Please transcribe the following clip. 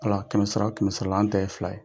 Ala kɛmɛsara la o kɛmɛsarala an ta ye fila ye,